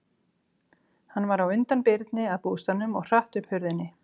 Hann var á undan Birni að bústaðnum og hratt upp hurðinni.